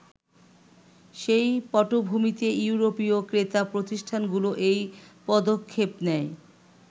সেই পটভূমিতে ইউরোপীয় ক্রেতা প্রতিষ্ঠানগুলো এই পদক্ষেপ নেয়।